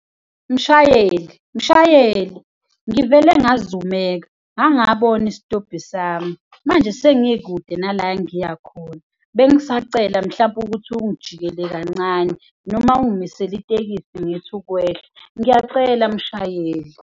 Mshayeli! Mshayeli! Ngivele ngazumeka, ngangabona isitobhi sami manje sengikude nala engiya khona. Bengisacela mhlampe ukuthi ungijikele kancane noma ungimisele itekisi ngithi ukwehla, ngiyacela mshayeli.